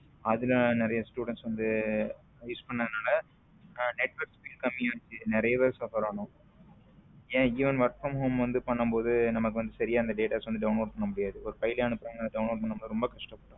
அதுல நிறைய student வந்து use பன்றனால network speed கம்மியா ஆச்சு நிறைய பேரு suffer ஆனோம் என even work from home பண்ணும் போது நமக்கு வந்து சரியா அந்த datas வந்து download பண்ண முடியாது download பண்ண ரொம்ப கஷ்டப்பட்டோம்.